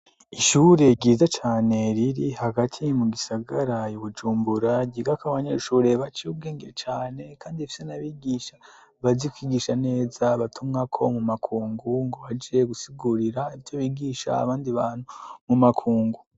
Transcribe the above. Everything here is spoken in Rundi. Ishure ryiza cane riri hagati mu gisagara I Bujumbura ryiga ko abanyeshuri bace ubwenge cane kandi ifite n'abigisha bazi kwigisha neza abatumwa ko mu makungu ngo baje gusigurira ibyo bigisha abandi bantu mu makungu.